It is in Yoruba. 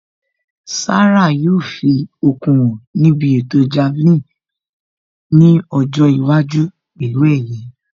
Sarah yóò fi okun hàn níbi ètò Javelin nkiọjọ́ iwájú pẹ̀lú ẹ̀yẹ